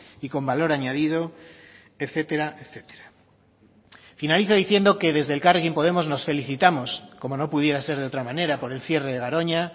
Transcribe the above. y con valor añadido etcétera etcétera finalizo diciendo que desde elkarrekin podemos nos felicitamos como no pudiera ser de otra manera por el cierre de garoña